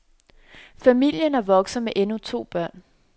Familien er vokset med endnu to børn.